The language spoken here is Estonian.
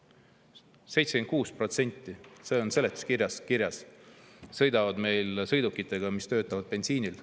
See on seletuskirjas kirjas, et 76% sõidavad meil sõidukitega, mis töötavad bensiinil.